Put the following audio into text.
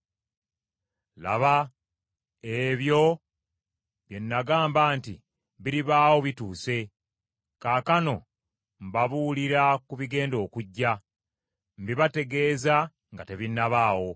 Laba, ebyo bye nagamba nti biribaawo bituuse, kaakano mbabuulira ku bigenda okujja; mbibategeeza nga tebinnabaawo.”